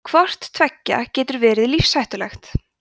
hvort tveggja getur verið lífshættulegt